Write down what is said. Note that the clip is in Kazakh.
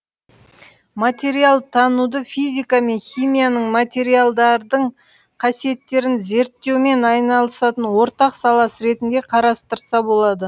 материалтануды физика мен химияның материалдардың қасиеттерін зерттеумен айналысатын ортақ саласы ретінде қарастырса болады